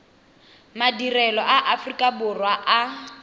madirelo a aforika borwa a